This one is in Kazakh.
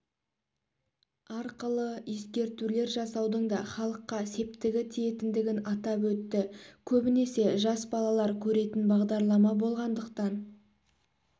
арқылы ескертулер жасаудың да халыққа септігі тиетіндігін атап өтті көбінесе жас балалар көретін бағдарлама болғандықтан